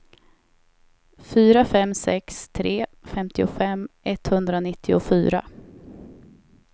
fyra fem sex tre femtiofem etthundranittiofyra